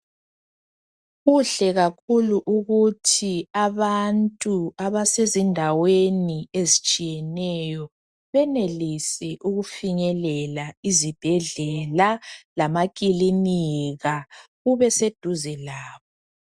Kuhle kakhulu ukuthi abantu abasezindaweni ezitshiyeneyo benelise ukufinyelela izibhedlela lamakilinika kube seduze labo .